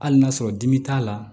Hali n'a sɔrɔ dimi t'a la